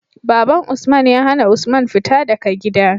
Baban usman ya hAna usman fita daka gida